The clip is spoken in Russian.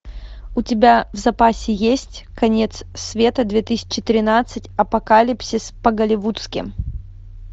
у тебя в запасе есть конец света две тысячи тринадцать апокалипсис по голливудски